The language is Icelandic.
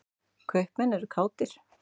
Kaupmenn eru kátir.